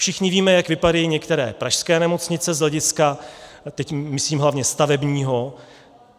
Všichni víme, jak vypadají některé pražské nemocnice z hlediska - teď myslím hlavně stavebního.